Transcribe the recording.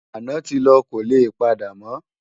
Àná ti lò kólé pàdámò